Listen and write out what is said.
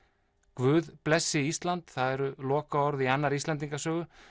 guð blessi Ísland það eru lokaorð í annarri Íslendingasögu